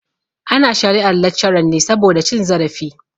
Ana shari'ar laccaran ne saboda cin zarafi.